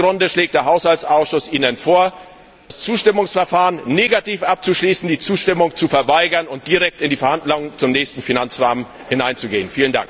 Aus diesem Grunde schlägt Ihnen der Haushaltsausschuss vor, das Zustimmungsverfahren negativ abzuschließen, die Zustimmung zu verweigern und direkt in die Verhandlungen zum nächsten Finanzrahmen hineinzugehen.